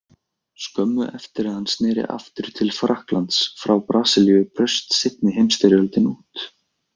Skömmu eftir að hann sneri aftur til Frakklands frá Brasilíu braust seinni heimsstyrjöldin út.